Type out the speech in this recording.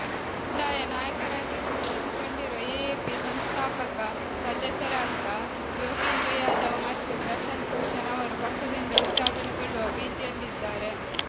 ಬಂಡಾಯ ನಾಯಕರಾಗಿ ಗುರುತಿಸಿಕೊಂಡಿರುವ ಎಎಪಿ ಸಂಸ್ಥಾಪಕ ಸದಸ್ಯರಾದ ಯೋಗೀಂದ್ರ ಯಾದವ್ ಮತ್ತು ಪ್ರಶಾಂತ್ ಭೂಷಣ್ ಅವರು ಪಕ್ಷದಿಂದ ಉಚ್ಚಾಟನೆಗೊಳ್ಳುವ ಭೀತಿಯಲ್ಲಿದ್ದಾರೆ